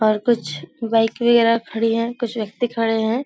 और कुछ बाइक वगैरा खड़ी हैं कुछ व्यक्ति खड़े हैं।